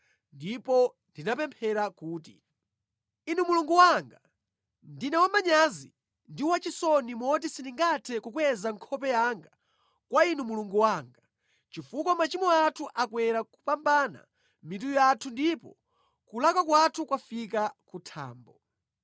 ndipo ndinapemphera kuti, “Inu Mulungu wanga, ndine wamanyazi ndi wachisoni moti sindingathe kukweza nkhope yanga kwa Inu Mulungu wanga, chifukwa machimo athu akwera kupambana mitu yathu, ndipo kulakwa kwathu kwafika ku thambo.